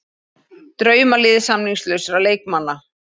Draumalið samningslausra leikmanna